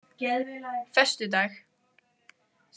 föstudag